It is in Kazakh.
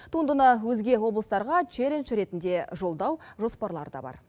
туындыны өзге облыстарға челлендж ретінде жолдау жоспарлары да бар